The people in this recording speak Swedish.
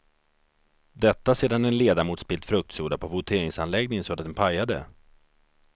Detta sedan en ledamot spillt fruktsoda på voteringsanläggningen så att den pajade.